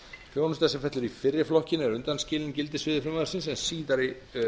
þjónusta sem fellur í fyrri flokkinn er undanskilin gildissviði frumvarpsins en síðari